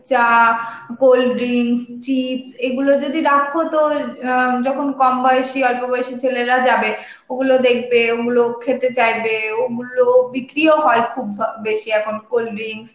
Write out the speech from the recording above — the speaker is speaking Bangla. চা, cold drink, chips এইগুলো যদি রাখো তো অ্যাঁ যখন কম বয়সে~ অল্পবয়সী ছেলেরা যাবে, ওই গুলো দেখবে, ওইগুলো খেতে চাইবে, ওইগুলো বিক্রিও হয় খুব বা~ বেশি এখন, cold drinks